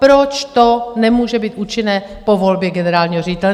Proč to nemůže být účinné po volbě generálního ředitele?